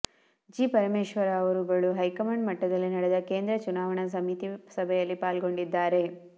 G Parameshwara ಅವರುಗಳು high command ಮಟ್ಟದಲ್ಲಿ ನಡೆದ ಕೇಂದ್ರ ಚುನಾವಣಾ ಸಮಿತಿ ಸಭೆಯಲ್ಲಿ ಪಾಲ್ಗೊಂಡಿದ್ದಾರೆ